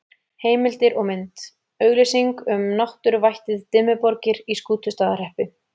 Heimildir og mynd: Auglýsing um náttúruvættið Dimmuborgir í Skútustaðahreppi.